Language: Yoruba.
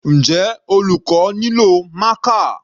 Njẹ́ olùkọ́ nílò marker?